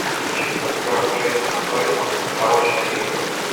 кинчик с актером джейсоном бейтманом порочные игры